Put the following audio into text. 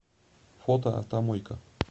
фото автомойка